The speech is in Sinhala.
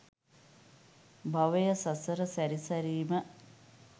භවය, සසර සැරි සැරීම,